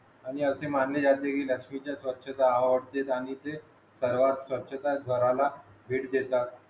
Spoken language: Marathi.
आणि असे मानले जाते कि लक्ष्मीचे स्वछता आवडते आणि ते घरात स्वच्छता घराला स्वच्छता घराला भेट देतात